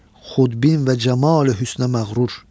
Xudbin və camali hüsnə məğrur.